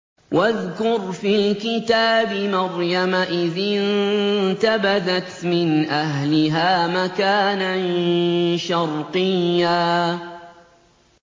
وَاذْكُرْ فِي الْكِتَابِ مَرْيَمَ إِذِ انتَبَذَتْ مِنْ أَهْلِهَا مَكَانًا شَرْقِيًّا